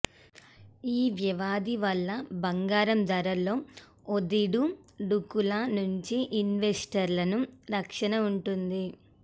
ఈ వ్యవధి వల్ల బంగారం ధరల్లో ఒడిదు డుకుల నుంచి ఇన్వెస్టర్లను రక్షణ ఉంటుంది